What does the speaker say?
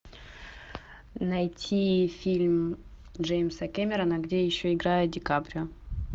найти фильм джеймса кэмерона где еще играет ди каприо